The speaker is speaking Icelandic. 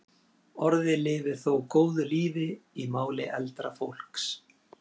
Orðið lifir þó góðu lífi í máli eldra fólks.